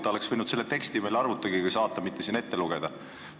Ta oleks võinud selle teksti arvuti teel saata, mitte seda siin ette lugeda.